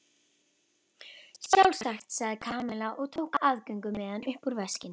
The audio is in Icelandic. Sjálfsagt sagði Kamilla og tók aðgöngumiðann upp úr veskinu.